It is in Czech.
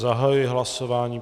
Zahajuji hlasování.